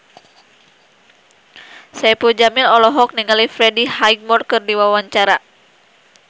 Saipul Jamil olohok ningali Freddie Highmore keur diwawancara